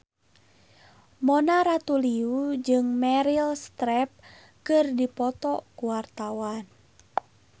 Mona Ratuliu jeung Meryl Streep keur dipoto ku wartawan